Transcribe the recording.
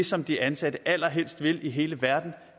som de ansatte allerhelst vil i hele verden